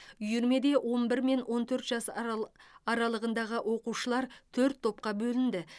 үйірмеде он бір мен он төрт жас аралы аралығындағы оқушылар төрт топқа бөлінді